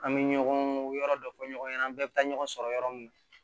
An bɛ ɲɔgɔn yɔrɔ dɔ fɔ ɲɔgɔn ɲana an bɛɛ bɛ taa ɲɔgɔn sɔrɔ yɔrɔ min na